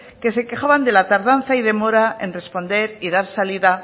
que se quejaban de la tardanza y demora en responder y dar salida